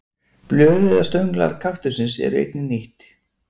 Blöð eða stönglar kaktussins eru einnig nýtt.